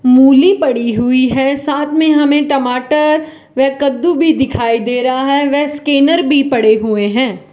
मूली पड़ी हुई है साथ में हमें टमाटर व कद्दू भी दिखाई दे रहा है व स्कैनर भी पड़े हुए हैं।